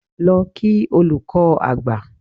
Lọ kí olùkọ́ àgbà!